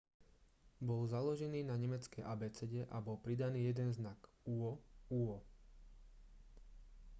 bol založený na nemeckej abecede a bol pridaný jeden znak õ/õ